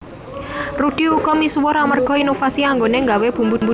Rudy uga misuwur amerga inovasi anggoné nggawé bumbu dhasar